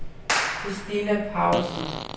Kristina Paulsen